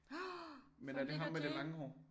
Åh fra Nik og Jay